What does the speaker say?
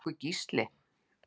Er það nokkuð Gísli?